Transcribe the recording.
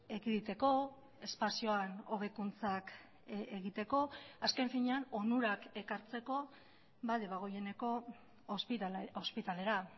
ekiditeko espazioan hobekuntzak egiteko azken finean onurak ekartzeko debagoieneko ospitalera